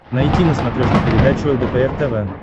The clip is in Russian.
найти на смотрешке передачу лдпр тв